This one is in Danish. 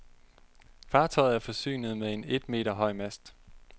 Fartøjet er forsynet med en et meter høj mast.